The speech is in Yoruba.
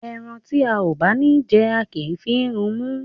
Ẹran tí a ò bá ní jẹ, a kì í fi run imú.